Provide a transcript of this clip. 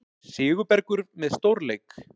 Sigurbergur með stórleik